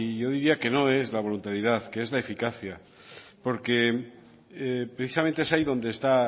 yo diría que no es la voluntariedad que es la eficacia porque precisamente es ahí donde está